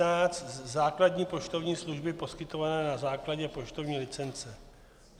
N516 - základní poštovní služby poskytované na základě poštovní licence.